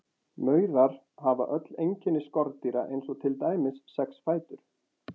Maurar hafa öll einkenni skordýra eins og til dæmis sex fætur.